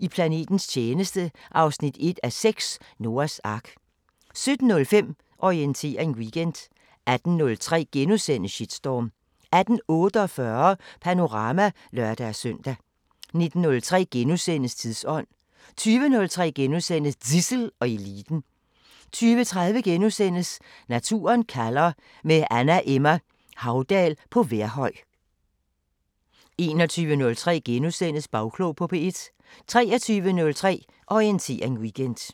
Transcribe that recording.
I planetens tjeneste 1:6 – Noahs ark * 17:05: Orientering Weekend 18:03: Shitstorm * 18:48: Panorama (lør-søn) 19:03: Tidsånd * 20:03: Zissel og Eliten * 20:30: Naturen kalder – med Anna Emma Haudal på Vejrhøj * 21:03: Bagklog på P1 * 23:03: Orientering Weekend